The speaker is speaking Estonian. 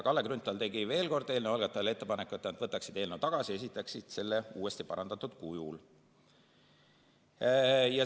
Kalle Grünthal tegi veel kord eelnõu algatajatele ettepaneku, et nad võtaksid eelnõu tagasi ja esitaksid selle uuesti parandatud kujul.